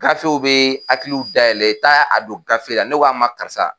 Gafew bɛ hakiliw dayɛlɛn taa a don gafe la ne ko a ma karisa